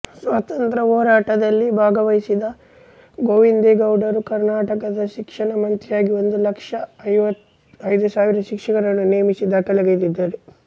ಸ್ವಾತಂತ್ರ್ಯ ಹೋರಾಟದಲ್ಲಿ ಭಾಗವಹಿಸಿದ್ದ ಗೋವಿಂದೇಗೌಡರು ಕರ್ನಾಟಕದ ಶಿಕ್ಷಣ ಮಂತ್ರಿಯಾಗಿ ಒಂದು ಲಕ್ಷದ ಐದು ಸಾವಿರ ಶಿಕ್ಷಕರನ್ನು ನೇಮಿಸಿ ದಾಖಲೆಗೈದಿದ್ದಾರೆ